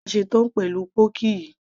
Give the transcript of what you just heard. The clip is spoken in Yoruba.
nígbà tí mo bá ṣe tán pẹ̀lú pọ́ọ́kì yìí